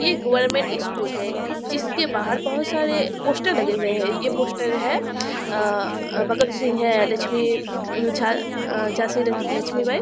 ये government school है जिसके बाहर बहुत सारे पोस्टर लगे हुए है ये पोस्टर है अ भगत सिंह है लक्ष्मी झा-झांसी लक्ष्मी बाई।